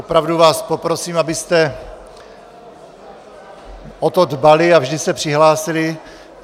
Opravdu vás poprosím, abyste o to dbali a vždy se přihlásili.